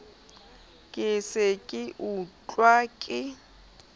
ke se ke ekwa ke